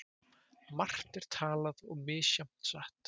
Margt er talað og misjafnt satt.